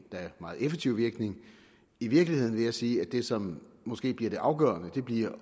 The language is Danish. meget effektiv virkning i virkeligheden vil jeg sige at det som måske bliver det afgørende bliver